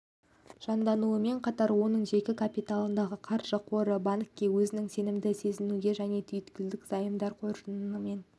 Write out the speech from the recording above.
жандануымен қатар оның жеке капиталындағы қаржы қоры банкке өзін сенімді сезінуге және түйткілді займдар қоржынымен